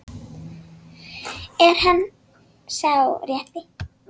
Er hann sá rétti?